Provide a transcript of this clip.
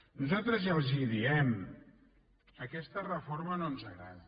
nosaltres ja els ho diem aquesta reforma no ens agrada